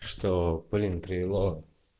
что блин привело